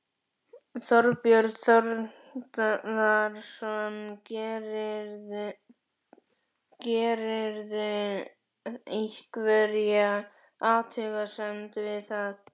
Þorbjörn Þórðarson: Gerirðu einhverja athugasemd við það?